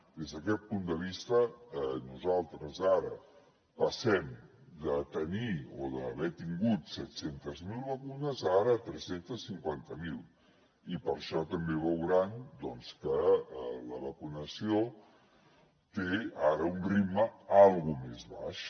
des d’aquest punt de vista nosaltres ara passem de tenir o d’haver tingut set cents miler vacunes a ara tres cents i cinquanta miler i per això també veuran doncs que la vacunació té ara un ritme una mica més baix